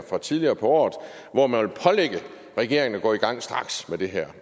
fra tidligere på året hvor man vil pålægge regeringen at gå i gang med det her